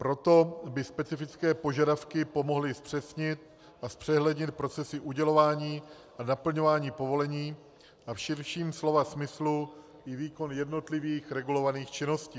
Proto by specifické požadavky pomohly zpřesnit a zpřehlednit procesy udělování a naplňování povolení a v širším slova smyslu i výkon jednotlivých regulovaných činností.